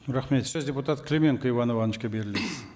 рахмет сөз депутат клименко иван ивановичке беріледі